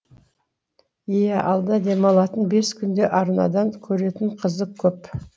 иә алда демалатын бес күнде арнадан көретін қызық көп